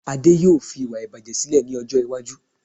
Ade yóò fi iwa ibaje sílè ní ọjọ́ iwájú